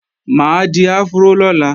Mà á di afró lọ́la